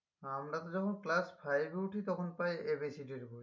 আমরা তো যখন class five এ উঠি তখন পাই A B C D এর বই